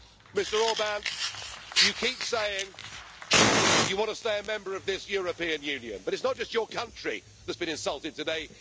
Mr Orbán, you keep saying you want to stay a member of this European Union, but it is not just your country that has been insulted today.